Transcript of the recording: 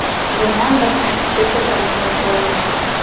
Buniyam bir tartibga keltirmasak bo‘lmaydi.